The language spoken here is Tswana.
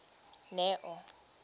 neo